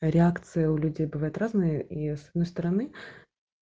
реакции у людей бывают разные и с одной стороны